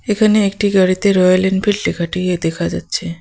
এখানে একটি গাড়িতে রয়েল এনফিল্ড লেখাটি দেখা যাচ্ছে।